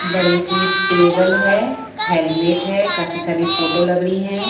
बड़ी सी टेबल है हेलमेट है काफी सारी फोटो लग रही है।